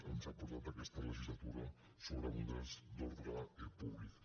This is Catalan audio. ens ha portat aquesta legislatura sobre models d’ordre públic